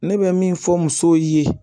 Ne bɛ min fɔ musow ye